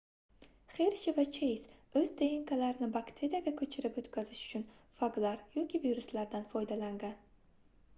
xershi va cheyz oʻz dnklarini bakteriyaga koʻchirib oʻtkazish uchun faglar yoki viruslardan foydalangan